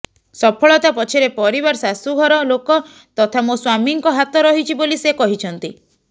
ସଫଳତା ପଛରେ ପରିବାର ଶାଶୁଘର ଲୋକ ତଥା ମୋ ସ୍ୱାମୀଙ୍କ ହାତ ରହିଛି ବୋଲି ସେ କହିଛନ୍ତି